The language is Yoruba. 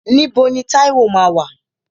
Níbo ni Táíwò máa wà?